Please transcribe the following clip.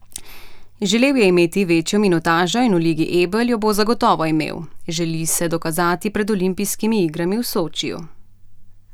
Želel je imeti večjo minutažo in v Ligi Ebel jo bo zagotovo imel, želi se dokazati pred olimpijskimi igrami v Sočiju.